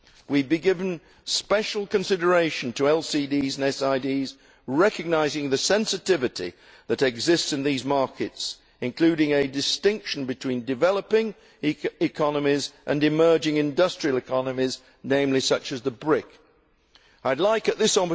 We have been giving special consideration to LDCs and SIDs, recognising the sensitivity that exists in these markets, including a distinction between developing economies and emerging industrial economies, such as the BRIC countries.